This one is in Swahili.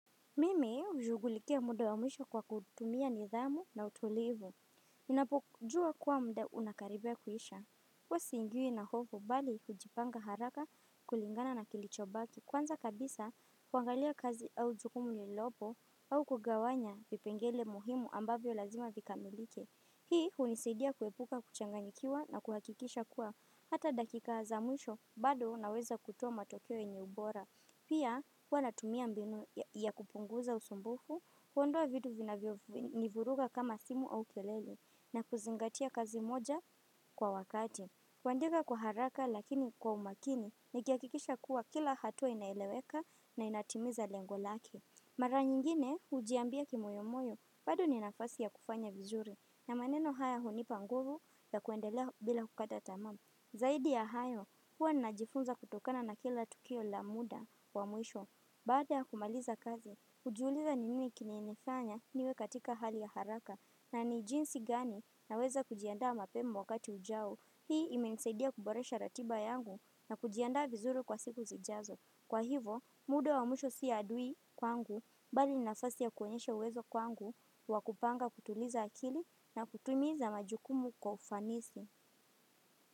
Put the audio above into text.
Mimi ujugulikia muda wa mwisho kwa kutumia nidhamu na utulivu. Inapokujua kuwa mda unakaribia kuhisha. Huwa siingiwi na hofu bali hujipanga haraka kulingana na kilicho baki. Kwanza kabisa, kuangalia kazi au jukumu lililopo au kugawanya vipengele muhimu ambavyo lazima vikamilike. Hii unisaidia kuepuka kuchanganyikiwa na kuhakikisha kuwa hata dakika za mwisho bado na weza kutoa matokeo yenye ubora. Pia, huwa natumia mbinu ya kupunguza usumbufu, kuondoa vitu vinavyo nivuruga kama simu au kelele na kuzingatia kazi moja kwa wakati. Kuandika kwa haraka lakini kwa umakini, nikiakikisha kuwa kila hatua inaeleweka na inatimiza lengolake. Mara nyingine, ujiambia kimoyomoyo, bado ninafasi ya kufanya vizuri, na maneno haya hunipanguvu ya kuendelea bila kukata tamaa. Zaidi ya hayo, huwa najifunza kutokana na kila tukio la muda wa mwisho, baada ya kumaliza kazi, ujiuliza ni nini kimenifanya niwe katika hali ya haraka, na ni jinsi gani na weza kujiandaa mapema wakati ujao, hii imenisaidia kuboresha ratiba yangu na kujiandaa vizuri kwa siku zijazo. Kwa hivo, muda wa mwisho si adui kwangu, bali ninafasi ya kuonyesha uwezo kwangu, wakupanga kutuliza akili na kutumiza majukumu kwa ufanisi.